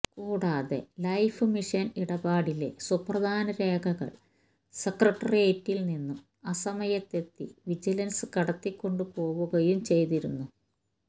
കൂടാതെ life mission ഇടപാടിലെ സുപ്രധാന രേഖകൾ സെക്രട്ടേറിയറ്റിൽ നിന്നും അസമയത്തെത്തി വിജിലൻസ് കടത്തിക്കൊണ്ടു പോകുകയും ചെയ്തിരുന്നു